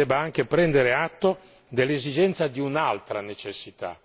Ma io credo che la Commissione debba anche prendere atto dell'esigenza di un'altra necessità,